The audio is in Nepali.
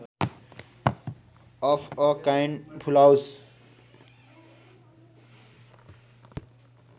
of a kind full house